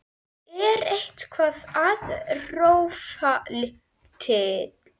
Er eitthvað að rofa til?